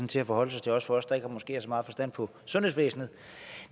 til at forholde sig til også for os der måske ikke har så meget forstand på sundhedsvæsenet